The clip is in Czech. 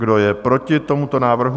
Kdo je proti tomuto návrhu?